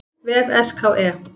vef SKE.